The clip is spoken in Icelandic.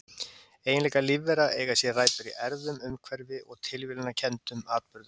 Eiginleikar lífvera eiga sér rætur í erfðum, umhverfi og tilviljunarkenndum atburðum.